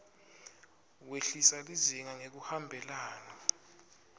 wehlisa lizinga ngekuhambelana